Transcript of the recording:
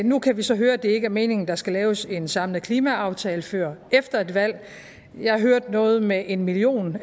nu kan vi så høre at det ikke er meningen at der skal laves en samlet klimaaftale før efter et valg jeg hørte noget med en million